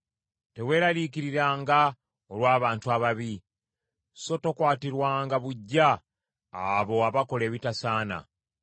Teweeraliikiriranga olw’abantu ababi, so tokwatirwanga buggya abo abakola ebitasaana.